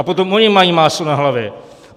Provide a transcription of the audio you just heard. A potom ony mají máslo na hlavě.